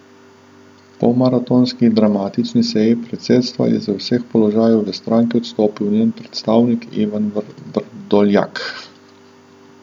Po maratonski dramatični seji predsedstva je z vseh položajev v stranki odstopil njen predsednik Ivan Vrdoljak.